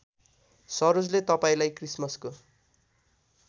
सरोजले तपाईँलाई क्रिसमसको